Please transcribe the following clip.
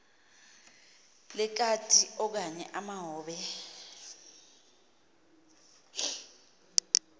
lekati okanye amahobe